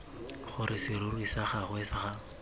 gore serori sa gagwe ga